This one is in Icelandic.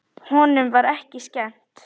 Honum var ekki skemmt.